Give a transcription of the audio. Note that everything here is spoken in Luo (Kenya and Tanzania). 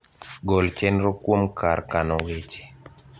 gol chenro kuom kar kano weche